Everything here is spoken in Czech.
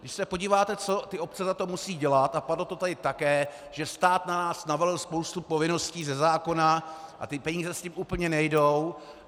Když se podíváte, co ty obce za to musí dělat - a padlo to tady také, že stát na nás navalil spoustu povinností ze zákona a ty peníze s tím úplně nejdou.